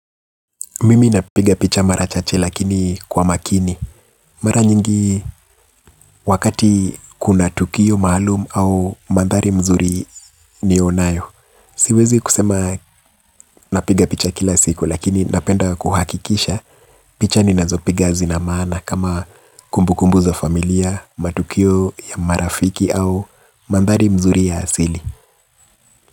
Mimi napiga picha mara chache lakini kwa makini. Mara nyingi wakati kuna tukio maalumu au mandhari mazuri nionayo. Siwezi kusema napiga picha kila siku lakini napenda kuhakikisha picha ninazopiga zina maana kama kumbukumbu za familia, matukio ya marafiki au mandhari mazuri ya asili.